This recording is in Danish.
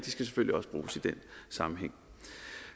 sammenhæng